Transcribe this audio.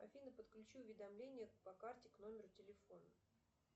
афина подключи уведомления по карте к номеру телефона